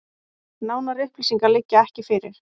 Nánari upplýsingar liggja ekki fyrir